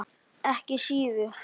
Ekki síður.